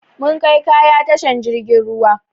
Mun kai kaya tashan jirgin ruwa